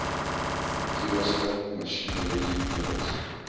toerusting masjinerie meubels